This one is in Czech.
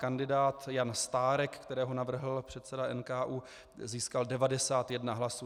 Kandidát Jan Stárek, kterého navrhl předseda NKÚ, získal 91 hlasů.